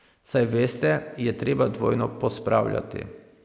Saj veste, je treba dvojno pospravljati ...